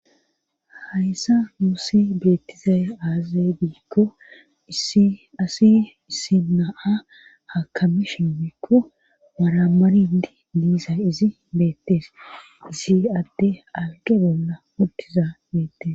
Hayssa musi betizaaye azabikko asi isinaa ha kamisha mikko maramarindi diiza izi betes izi atte agebola mutiza betes